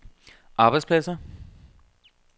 arbejdspladser